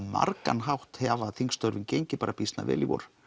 margan hátt hafa þingstörfin gengið bara býsna vel í vor